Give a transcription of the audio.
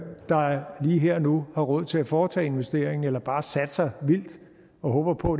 der lige her og nu har råd til at foretage investeringen eller bare satser vildt og håber på